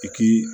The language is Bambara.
I k'i